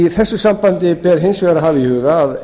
í þessu sambandi ber hins vegar að